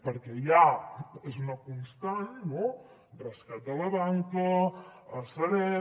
perquè ja és una constant rescat de la banca sareb